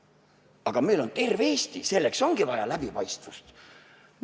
Aga meil on terve Eesti ja selleks ongi vaja läbipaistvust.